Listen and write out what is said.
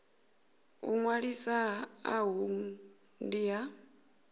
u ṅwalisa uhu ndi ha